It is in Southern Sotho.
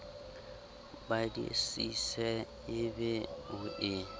badisise e be o e